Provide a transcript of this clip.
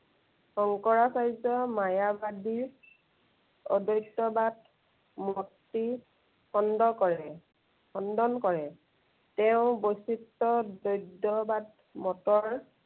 শংকৰাচাৰ্যৰ মায়াচাজিৰ, অদত্য়বাদ মতি খণ্ড কৰে, খণ্ডন কৰে। তেওঁ বৈচিত্য় বৈদ্য় বাদ মতৰ